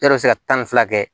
E yɛrɛ bɛ se ka tan ni fila kɛ